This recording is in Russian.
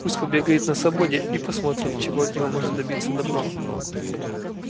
пусть побегает на свободе и посмотрим чего от него можно добиться добром